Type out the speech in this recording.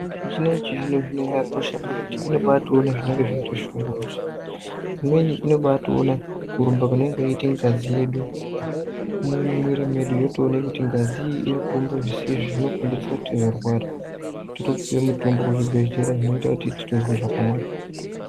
Midziyo yechizvino zvino zvakakosha ngekuti unotoona zvinenge zveibatishungurudza imweni inenge yeiona kurumba kunenge kuchiita ngazi yedu mumwiri yedu yotoona kuti ngazi iyi iri kurumba zvisizvo totopuwa mitombo kuzvibhedhlera zvinoita tinzwe zvakanaka.